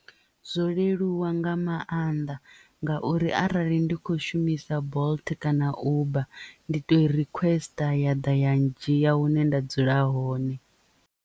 Zwo leluwa nga maanḓa ngauri arali ndi kho shumisa bolt kana uber ndi to requester ya ḓa ya ndzhia hune nda dzula hone.